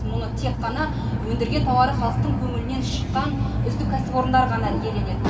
мұны тек қана өндірген тауары халқтың көңілінен шыққан үздік кәсіпорындар ғана иеленеді